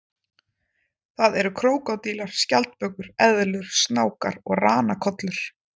Það eru krókódílar, skjaldbökur, eðlur, snákar og ranakollur.